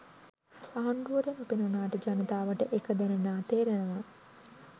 ආණ්ඩුවට නොපෙනුනාට ජනතාවට එක දැනෙනවා තේරෙනවා.